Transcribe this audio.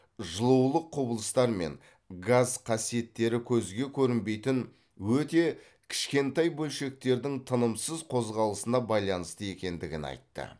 жылулық құбылыстар мен газ қасиеттері көзге көрінбейтін өте кішкентай бөлшектердің тынымсыз қозғалысына байланысты екендігін айтты